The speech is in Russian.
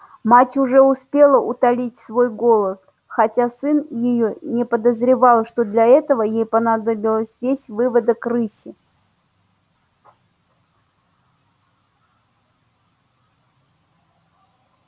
мать уже успела утолить свой голод хотя сын её и не подозревал что для этого ей понадобился весь выводок рыси